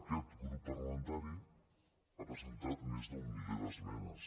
aquest grup parlamentari ha presentat més d’un miler d’esmenes